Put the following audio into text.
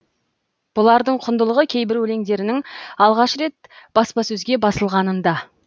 бұлардың құндылығы кейбір өлеңдерінің алғаш рет баспасөзге басылғанында